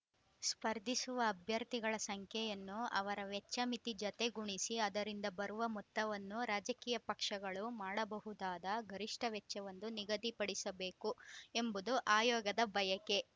ಸ್ಪರ್ಧಿಸುವ ಅಭ್ಯರ್ಥಿಗಳ ಸಂಖ್ಯೆಯನ್ನು ಅವರ ವೆಚ್ಚ ಮಿತಿ ಜತೆ ಗುಣಿಸಿ ಅದರಿಂದ ಬರುವ ಮೊತ್ತವನ್ನು ರಾಜಕೀಯ ಪಕ್ಷಗಳು ಮಾಡಬಹುದಾದ ಗರಿಷ್ಠ ವೆಚ್ಚವೆಂದು ನಿಗದಿಪಡಿಸಬೇಕು ಎಂಬುದು ಆಯೋಗದ ಬಯಕೆ